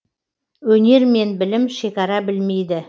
өнер мен білім шекара білмейді